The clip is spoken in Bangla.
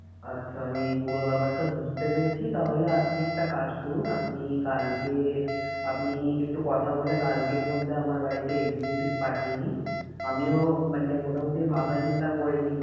আচ্ছা আমি পুরো ব্যাপারটা বুঝতে পেরেছি তাহলে আপনি একটা কাজ করুন আপনি কালকে, আপনি একটু কথা বলে কালকের মধ্যে আমার বাড়িতে executive পাঠিয়েনিন আমিও মানে মোটামুটি ভাবনা চিন্তা করে